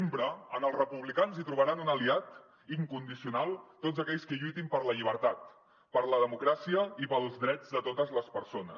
sempre en els republicans hi trobaran un aliat incondicional tots aquells que lluitin per la llibertat per la democràcia i pels drets de totes les persones